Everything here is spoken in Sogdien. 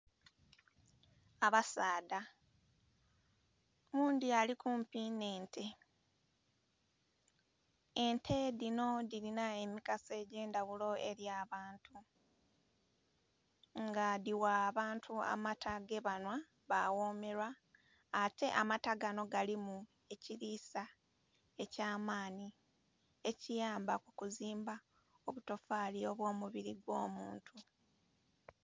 Abasaadha oghundhi ali kumpi nhe ente, ente dhinho dhilina emigaso edhendhaghulo eri abantu nga dhigha abantu amata ge banhwa ba ghomelwa ate amata ganho galimu ekilisa ekya maanhi ekiyamba kukuzimba obutofali bwo mubiri gwo muntu.